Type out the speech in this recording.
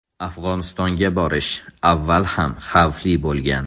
Afg‘onistonga borish avval ham xavfli bo‘lgan.